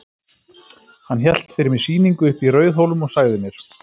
Hann hélt fyrir mig sýningu uppi í Rauðhólum og sagði mér.